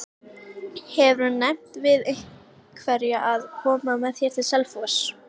Hefurðu nefnt við einhverja að koma með þér til Selfoss?